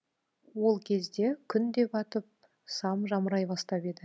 ол кезде күн де батып сам жамырай бастап еді